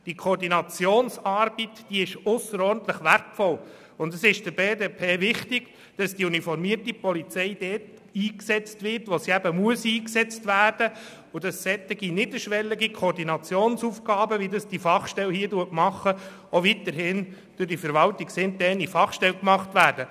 Die Koordinationsarbeit ist ausserordentlich wertvoll, und es ist der BDP wichtig, dass die uniformierte Polizei dort eingesetzt wird, wo sie eingesetzt werden muss, und dass solche niederschwelligen Koordinationsaufgaben, wie sie diese Fachstelle erfüllt, auch weiterhin durch die verwaltungsinterne Fachstelle erfüllt werden.